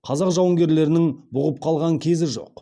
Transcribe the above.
қазақ жауынгерлерінің бұғып қалған кезі жоқ